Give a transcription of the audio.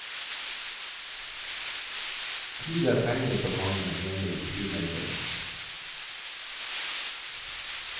Tid er penger for mange, mener flymegleren.